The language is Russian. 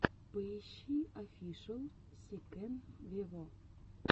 поищи офишел си кэн вево